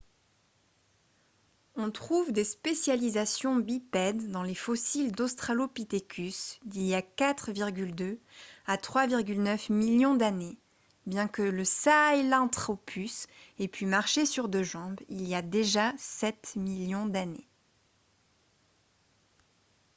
on trouve des spécialisations bipèdes dans les fossiles d'australopithecus d'il y a 4,2 à 3,9 millions d'années bien que le sahelanthropus ait pu marcher sur deux jambes il y a déjà sept millions d'années